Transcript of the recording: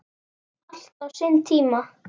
Allt á sinn tíma.